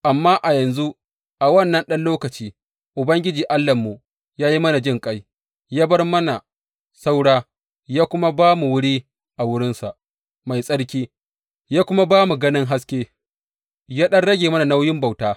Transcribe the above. Amma a yanzu a wannan ɗan lokaci Ubangiji Allahnmu ya yi mana jinƙai, ya bar mana saura, ya kuma ba mu wuri a wurinsa mai tsarki, ya kuma ba mu ganin haske, ya ɗan rage mana nauyin bauta.